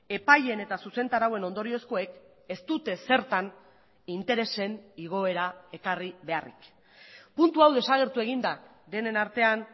epaileen eta zuzentarauen ondoriozkoek ez dute ezertan interesen igoera ekarri beharrik puntu hau desagertu egin da denen artean